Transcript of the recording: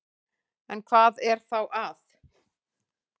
En hvað er þá að?